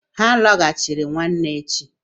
Ha a lọghachiri nwanne echi?